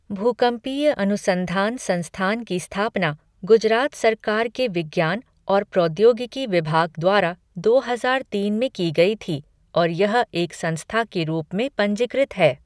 भूकंपीय अनुसंधान संस्थान की स्थापना गुजरात सरकार के विज्ञान और प्रौद्योगिकी विभाग द्वारा दो हजार तीन में की गई थी और यह एक संस्था के रूप में पंजीकृत है।